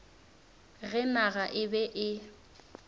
ge naga e be e